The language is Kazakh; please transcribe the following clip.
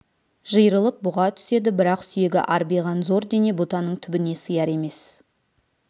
жиырылып бұға түседі бірақ сүйегі арбиған зор дене бұтаның түбіне сияр емес